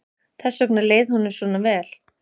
Þess vegna leið honum vel.